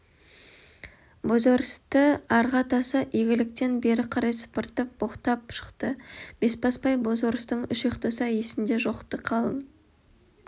бозорысты арғы атасы игіліктен бері карай сыпыртып боқтап шықты бесбасбай бозорыстың үш ұйықтаса есіңде жоқ-ты қалың